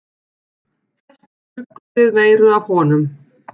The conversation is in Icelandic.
Flestir bjuggust við meiru af honum.